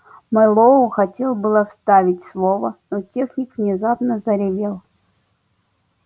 мэллоу хотел было вставить слово но техник внезапно заревел